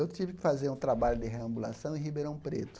Eu tive que fazer um trabalho de reambulação em Ribeirão Preto.